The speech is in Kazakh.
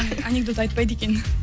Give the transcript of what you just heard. анекдот айтпайды екен